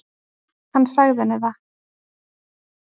Hann sagði henni það.